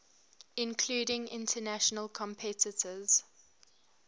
including international competitors